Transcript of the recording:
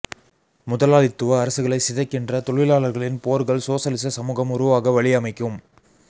முதலாளித்துவ அரசுகளைச் சிதைக்கின்ற தொழிலாளர்களின் போர்கள் சோசலிச சமூகம் உருவாக வழியமைக்கும்